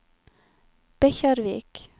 Bekkjarvik